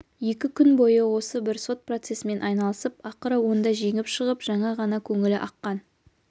екі күн бойы осы бір сот процесімен айналысып ақыры онда жеңіп шығып жаңа ғана көңілі аққан